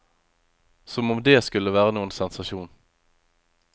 Som om dét skulle være noen sensasjon.